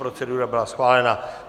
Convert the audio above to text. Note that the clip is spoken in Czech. Procedura byla schválena.